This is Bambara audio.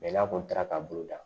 n'a kɔni taara ka bolo da